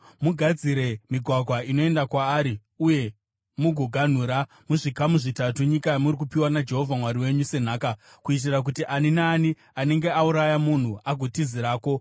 Mugadzire migwagwa inoenda kwaari uye mugoganhura, muzvikamu zvitatu nyika yamuri kupiwa naJehovha Mwari wenyu senhaka, kuitira kuti ani naani anenge auraya munhu agotizirako.